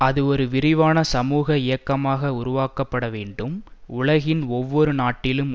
அது ஒரு விரிவான சமுக இயக்கமாக உருவாக்கப்படவேண்டும் உலகின் ஒவ்வொரு நாட்டிலும்